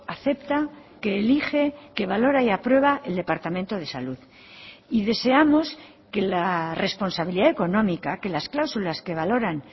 acepta que elige que valora y aprueba el departamento de salud y deseamos que la responsabilidad económica que las cláusulas que valoran